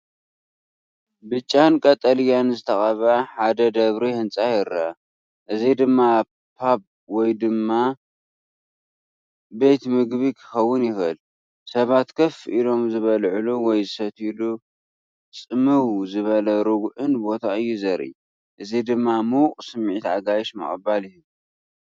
ብጫን ቀጠልያን ዝተቐብአ ሓደ ደብሪ ህንጻ ይረአ፡ እዚ ድማ ፓብ ወይ ቤት ምግቢ ክኸውን ይኽእል። ሰባት ኮፍ ኢሎም ዝበልዑሉ ወይ ዝሰትዩሉ ጽምው ዝበለን ርጉእን ቦታ እዩ ዘርኢ፣ እዚ ድማ ምዉቕ ስምዒት ኣጋይሽ ምቕባል ይህብ